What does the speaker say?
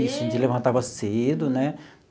Isso a gente levantava cedo, né?